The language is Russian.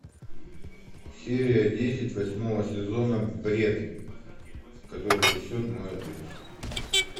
серия десять восьмого сезона бред который несет мой отец